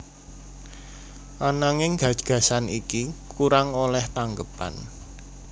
Ananging gagasan iki kurang olèh tanggepan